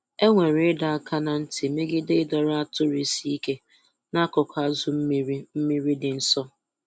Enwere ịdọ aka ná ntị megide ịdọrọ atụrụ isi ike n'akụkụ azụ mmiri mmiri dị nsọ.